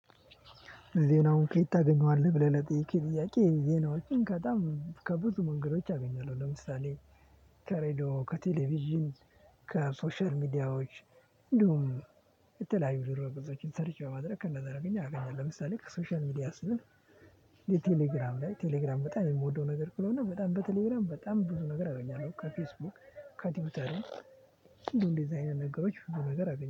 ዜናውን ከየት ታገኘዋለህ? ብለህ ለጠይቀኝ ጥያቄ ዜናዎችን ከጣም ከብዙ መንገዶች አገኛለሁ። ለምሳሌ ከሬድዮ ከቴሌቪዥን ከሶሻል ሚዲያዎች። እንዲሁም የተለያዩ ድሮ ብዙዎችን ሰርቼ በማድረግ ከእነዛ አደረገኝ አገኛለሁ። ለምሳሌ ከሶሻል ሚዲያ ስል ከቴሌግራም ላይ ቴሌግራም በጣም የምወደው ነገር ክለብ ነው። በጣም በቴሌግራም በጣም ብዙ ነገር አደርጋለሁ። ከፌስቡክ ከቲዩተር እንደዚህ አይነት ነገሮች በዚህ ነገር አገኘሁ